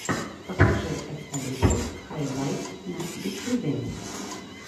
покажи экскалибурс хайлайтс на ютьюбе